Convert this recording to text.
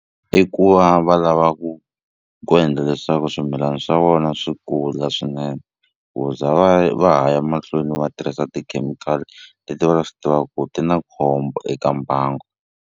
I ku va va lava ku ku endla leswaku swimilana swa vona swi kula swinene ku za va va ha ya mahlweni va tirhisa tikhemikhali leti va swi tivaku ti na khombo eka mbangu.